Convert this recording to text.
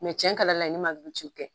Mɛ tiɲɛ ka di Ala ye ne ma Luti gɛn..